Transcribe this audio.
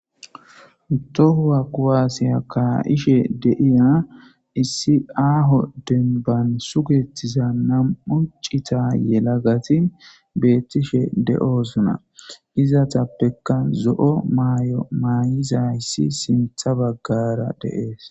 Tohuwa quwaasiya kaayishe de'iza issi aaho denban sugetiza nam'u cita yelagati beettishe de'osona hizatappekka zo'o maay'o maayizayssi siinththa baggara de'ees